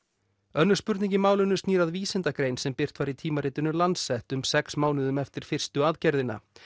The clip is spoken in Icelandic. önnur spurning í málinu snýr að vísindagrein sem birt var í tímaritinu Lancet um sex mánuðum eftir fyrstu aðgerðina